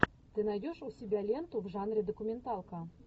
ты найдешь у себя ленту в жанре документалка